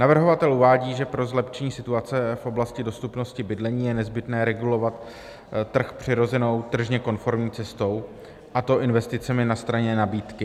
Navrhovatel uvádí, že pro zlepšení situace v oblasti dostupnosti bydlení je nezbytné regulovat trh přirozenou tržně konformní cestou, a to investicemi na straně nabídky.